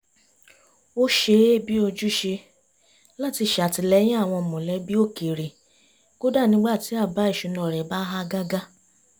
ó ṣe é bi ojúṣe láti ṣàtìlẹyìn àwọn mọ̀lẹ́bí òkèrè kódà nígbà tí àbá ìṣúná rẹ̀ bá há gágá